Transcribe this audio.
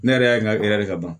Ne yɛrɛ y'a ɲininka e yɛrɛ ka ban